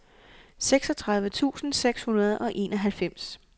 seksogtredive tusind seks hundrede og enoghalvfems